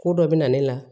Ko dɔ bɛ na ne la